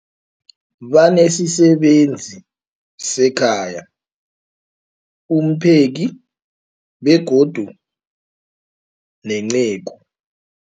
Banesisebenzi sekhaya, umpheki, begodu nenceku.